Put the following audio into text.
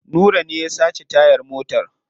Nura ne ya sace tayar motar.